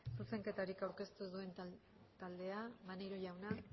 zuzenketarik aurkeztu ez duen taldea maneiro jauna